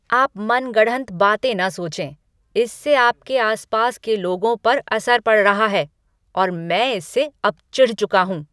आप मन गढ़ंत बातें न सोचें। इससे आपके आस पास के लोगों पर असर पड़ रहा है और मैं इससे अब चिढ़ चुका हूँ।